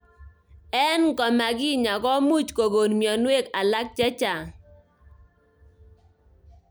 Eng ngomakinya komuch kokon mnyenwokik alak chechang.